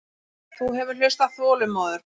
Þú hefur hlustað þolinmóður.